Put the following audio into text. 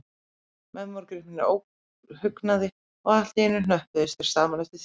Menn voru gripnir óhugnaði, og allt í einu hnöppuðust þeir saman eftir þjóðerni.